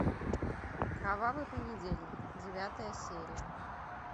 кровавый понедельник девятая серия